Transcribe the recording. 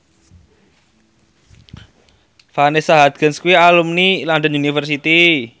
Vanessa Hudgens kuwi alumni London University